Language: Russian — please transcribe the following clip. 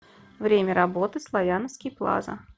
время работы славяновский плаза